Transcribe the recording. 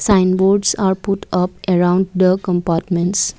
sign boards are put up around the compartments.